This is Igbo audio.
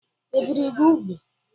E bìri gị úgwù?